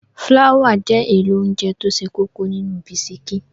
Fláwà jẹ́ èlò óńjẹ tó ṣe kókó nínú bisikí.